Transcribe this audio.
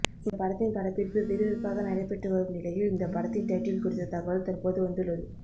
இந்த படத்தின் படப்பிடிப்பு விறுவிறுப்பாக நடைபெற்று வரும் நிலையில் இந்த படத்தின் டைட்டில் குறித்த தகவல் தற்போது வந்துள்ளது